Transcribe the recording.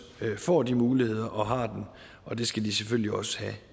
får de muligheder og har dem og det skal de selvfølgelig også have